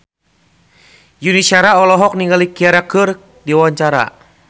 Yuni Shara olohok ningali Ciara keur diwawancara